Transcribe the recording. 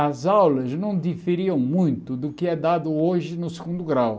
As aulas não diferiam muito do que é dado hoje no segundo grau.